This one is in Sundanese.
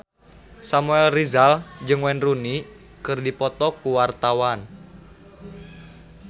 Samuel Rizal jeung Wayne Rooney keur dipoto ku wartawan